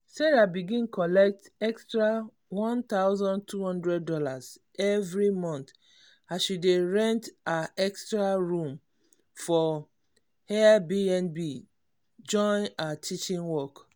sarah begin collect extra one thousand two hundred dollars every month as she dey rent her extra room for airbnb join her teaching work.